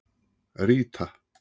Ríta